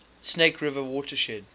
snake river watershed